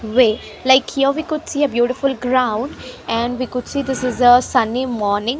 way like here we could see a beautiful ground and we could see this is a sunny morning.